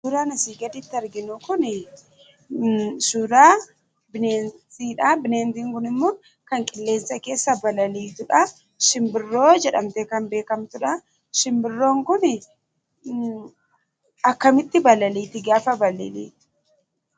Suuraan asii gaditti arginu kunii, suuraa bineentiidha. Bineentiin kunimmoo kan qilleensa keessa balaliitudhaa. Simbirroo jedhamtee kan beekkamtudhaa. Simbirroon kunii akkkamitti balaliiti gaafa balaliitu?